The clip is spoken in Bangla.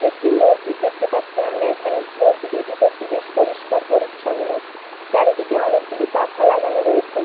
একটি মসজিদ দেখতে পাচ্ছি আমরা এখানে। মসজিদ -এর ভিতর টি বেশ পরিষ্কার পরিচ্ছন্ন। চারিদিকে অনেকগুলি পাখা লাগানো রয়েছে।